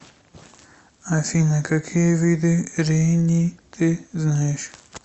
афина какие виды рени ты знаешь